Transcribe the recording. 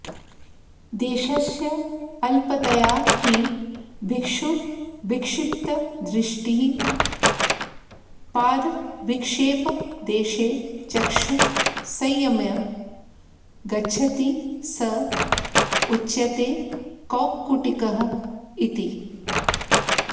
देशस्य अल्पतया हि भिक्षुरविक्षिप्तदृष्टिः पादविक्षेपदेशे चक्षुः संयम्य गच्छति स उच्यते कौक्कुटिकः इति